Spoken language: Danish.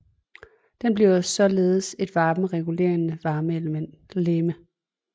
Den bliver således et selvregulerende varmelegeme